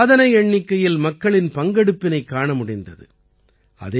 இதிலே சாதனை எண்ணிக்கையில் மக்களின் பங்கெடுப்பினைக் காண முடிந்தது